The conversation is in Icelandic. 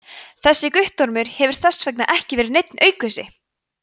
þessi guttormur hefur þess vegna ekki verið neinn aukvisi!